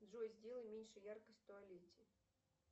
джой сделай меньше яркость в туалете